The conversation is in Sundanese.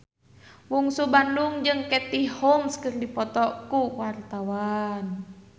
Bungsu Bandung jeung Katie Holmes keur dipoto ku wartawan